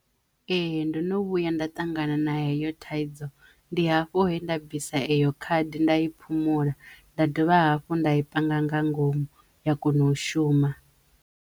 Ee. Ndo no vhuya nda ṱangana na heyo thaidzo ndi hafho he nda bvisa eyo khadi nda i phumula nda dovha hafhu nda i panga nga ngomu ya kono u shuma.